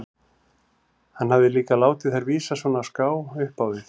Hann hafði líka látið þær vísa svona á ská upp á við.